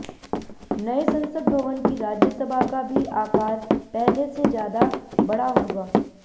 नए संसद भवन की राज्यसभा का भी आकार पहले से ज्यादा बड़ा होगा